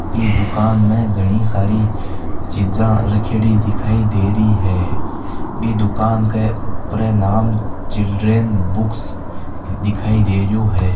बि दुकान में घनी सारि चीज़े रखेड़ी दिखाई देरी है बि दुकान के उपरे नाम चिल्ड्रन बुक्स दिखाई देरियो है।